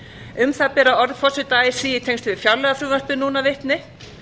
um það bera orð forseta así í tengslum við fjárlagafrumvarpið núna vitni